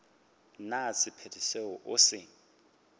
na sephetho seo o se